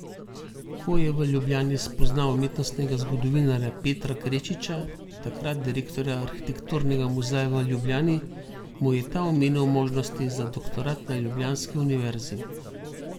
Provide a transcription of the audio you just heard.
Ko je v Ljubljani spoznal umetnostnega zgodovinarja Petra Krečiča, takrat direktorja arhitekturnega muzeja v Ljubljani, mu je ta omenil možnosti za doktorat na ljubljanski univerzi.